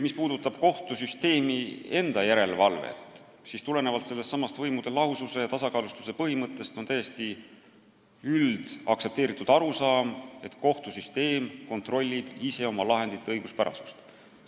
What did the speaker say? Mis puudutab kohtusüsteemi enda järelevalvet, siis tulenevalt sellestsamast võimude lahususe ja tasakaalustuse põhimõttest on täiesti üldaktsepteeritud arusaam, et kohtusüsteem kontrollib ise oma lahendite õiguspärasust.